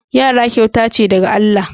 Yaran kyauta ce daga Allah.